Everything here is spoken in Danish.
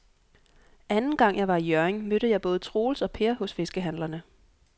Anden gang jeg var i Hjørring, mødte jeg både Troels og Per hos fiskehandlerne.